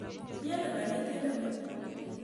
Miano kanetindet ng'ung'?